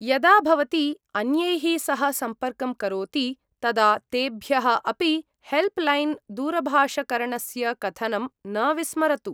यदा भवती अन्यैः सह सम्पर्कं करोति तदा तेभ्यः अपि हेल्प्लैन् दूरभाषकरणस्य कथनं न विस्मरतु।